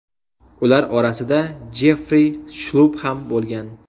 Ular orasida Jeffri Shlupp ham bo‘lgan.